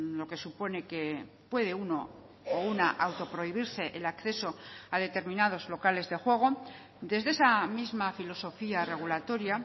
lo que supone que puede uno o una autoprohibirse el acceso a determinados locales de juego desde esa misma filosofía regulatoria